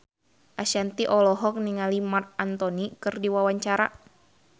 Ashanti olohok ningali Marc Anthony keur diwawancara